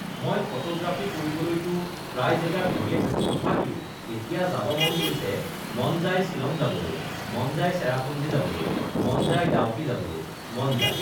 মই ফটোগ্ৰাফী কৰিবলৈটো প্ৰায় জেগা ঘূৰিয়ে থাকোঁ তথাপিও এতিয়া যাব মন গৈছে মন যায় শ্বিলং যাবলৈ মন যায় চেৰাপুঞ্জী যাবলৈ মন যায় ডাউকী যাবলৈ মন যায়